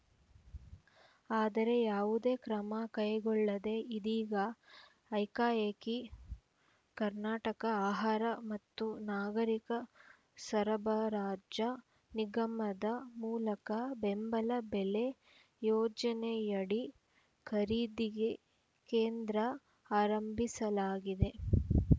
ಆದರೆ ಯಾವುದೇ ಕ್ರಮ ಕೈಗೊಳ್ಳದೆ ಇದೀಗ ಐಕಾಏಕಿ ಕರ್ನಾಟಕ ಆಹಾರ ಮತ್ತು ನಾಗರೀಕ ಸರಬರಾಜ ನಿಗಮದ ಮೂಲಕ ಬೆಂಬಲ ಬೆಲೆ ಯೋಜನೆಯಡಿ ಖರೀದಿಗೆ ಕೇಂದ್ರ ಆರಂಭಿಸಲಾಗಿದೆ